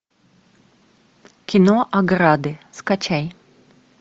кино ограды скачай